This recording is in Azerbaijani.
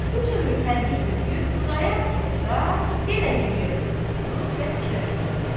Bütün tövür tədbir töküb Xudayar kənddə yenə bir yerdə durubdu və fikrə cumdu.